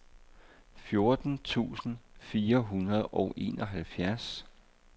fjorten tusind fire hundrede og enoghalvfjerds